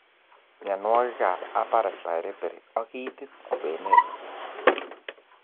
mianwogig ab upper respiratory ag itit kwenet